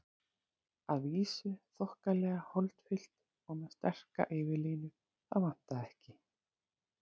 Að vísu þokkalega holdfyllt og með sterka yfirlínu, það vantaði ekki.